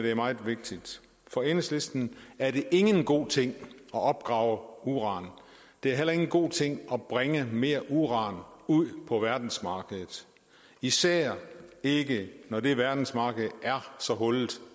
er meget vigtigt for enhedslisten er det ikke en god ting at opgrave uran det er heller ikke en god ting at bringe mere uran ud på verdensmarkedet især ikke når det verdensmarked er så hullet